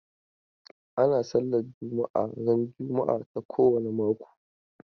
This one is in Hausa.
Ana sallar juma'a ran juma'a ta kowane mako.